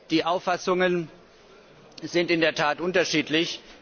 Die Auffassungen sind in der Tat unterschiedlich.